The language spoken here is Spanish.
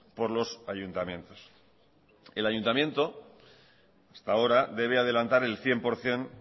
por los ayuntamientos el ayuntamiento hasta ahora debe adelantar el cien por ciento